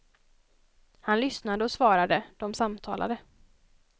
Han lyssnade och svarade, de samtalade.